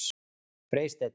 Freysteinn